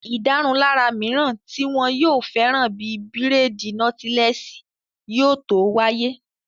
Ìdárunlárà mìíràn tí wọn yóò fẹ́ràn bíi bírèèdì nọ́tílẹ́ẹ̀sì yóò tó wáyé